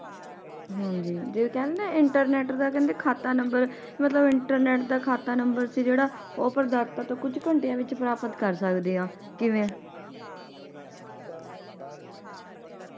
ਹਾਂਜੀ ਜੇ ਕਹਿੰਦੇ internet ਦਾ ਕਹਿੰਦੇ ਖਾਤਾ ਨੰਬਰ ਮਤਲਬ internet ਦਾ ਖਾਤਾ ਨੰਬਰ ਸੀ ਜੇੜਾ ਉਹ ਤੋਂ ਕੁਛ ਘੰਟਿਆਂ ਵਿਚ ਪ੍ਰਾਪਤ ਕਰ ਸਕਦੇ ਆ ਕਿਵੇਂ?